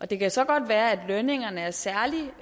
det kan så godt være at lønningerne er særlig